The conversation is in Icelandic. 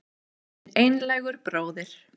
Þinn einlægur bróðir